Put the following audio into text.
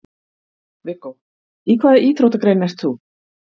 Viggó: Í hvaða íþróttagrein ert þú?